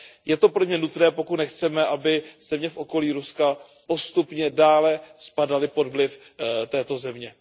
Je to pro mě nutné, pokud nechceme, aby země v okolí Ruska postupně dále spadaly pod vliv této země.